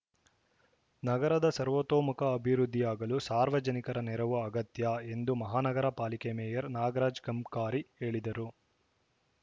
ನಗರದ ಸರ್ವತೋಮುಖ ಅಭಿವೃದ್ಧಿಯಾಗಲು ಸಾರ್ವಜನಿಕರ ನೆರವು ಅಗತ್ಯ ಎಂದು ಮಹಾನಗರ ಪಾಲಿಕೆ ಮೇಯರ್‌ ನಾಗರಾಜ್‌ ಕಂಕಾರಿ ಹೇಳಿದರು